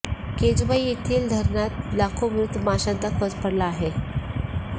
केजुबाई येथील धरणात लाखो मृत माशांचा खच पडला आहे